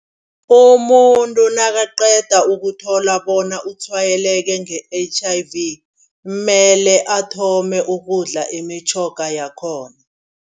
Umuntu nakaqeda ukuthola bona utshwayeleke nge-H_I_V kumele athome ukudla imitjhoga yakhona.